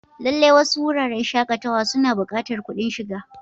Lallai, wasu wuraren shakatawa suna buƙatar kuɗin shiga.